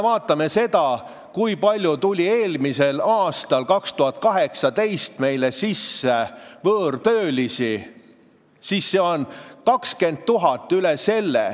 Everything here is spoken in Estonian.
Vaatame seda, kui palju tuli eelmisel aastal, 2018, Eestisse võõrtöölisi – 20 000 ja üle selle.